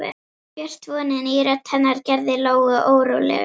Björt vonin í rödd hennar gerði Lóu órólega.